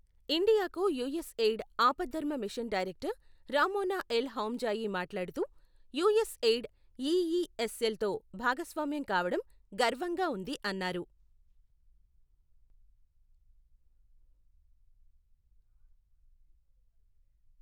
ఇండియాకు యుఎస్ఎయిడ్ ఆపద్ధర్మ mission director Ramona El Hamzaoui మాట్లాడుతూ, యుఎస్ఎయిడ్ ఈఈఎస్ఎల్ తో భాగస్వామ్యం కావడం గర్వంగా ఉంది అన్నారు.